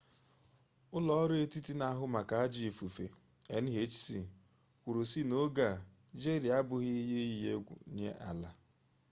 ụlọọrụ etiti na-ahụ maka ajọ ifufe nhc kwuru sị n’oge a jeri abụghị ihe iyi egwu nye ala